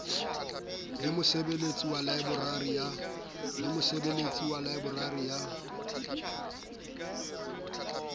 le mosebeletsi wa laeborari ya